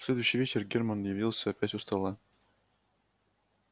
в следующий вечер германн явился опять у стола